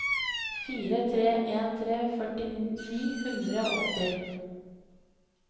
fire tre en tre førti ni hundre og åtti